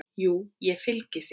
Jú, ég fylgi þér.